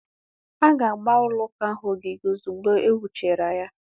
A ga-agba ụlọ ụka ahụ ogige ozugbo e wuchara ya.